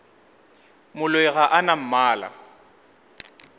moloi ga a na mmala